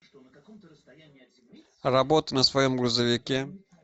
работа на своем грузовике